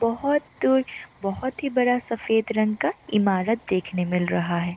बोहोत दूर बहुत ही बड़ा सफेद रंग का ईमारत देखने को मिल रहा है।